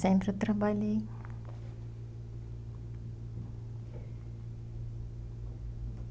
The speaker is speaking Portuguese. Sempre eu trabalhei.